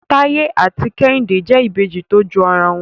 Taye ati kehinde jẹ Ìbejì to jọ ara wọn.